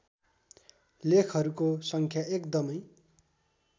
लेखहरूको सङ्ख्या एकदमै